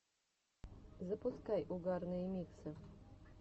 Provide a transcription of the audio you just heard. запускай угарные миксы